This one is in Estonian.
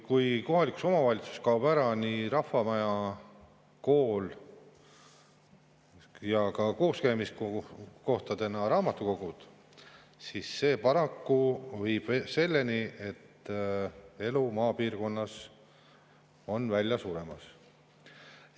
Kui kohalikus omavalitsuses kaob ära rahvamaja, kool ja kooskäimiskohana raamatukogu, siis see paraku viib selleni, et elu seal piirkonnas on välja suremas.